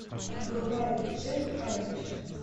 врубай джек айриш